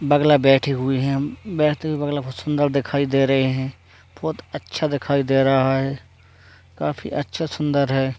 बगला बैठे हुए हैं बैठते हुए बगला बहुत सुन्दर दिखाई दे रहें हैं बहोत अच्छा दिखाई दे रहा है काफीअच्छा सुन्दर है।